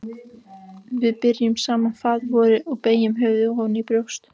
Við biðjum saman faðirvorið og beygjum höfuðin ofan í brjóst.